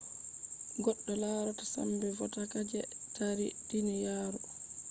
goddo larata sambe vodaka je taari duniyaru